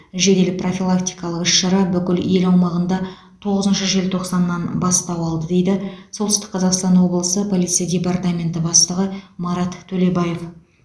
жедел профилактикалық іс шара бүкіл ел аумағында тоғызыншы желтоқсаннан бастау алды дейді солтүстік қазақстан облысы полиция департаменті бастығы марат төлебаев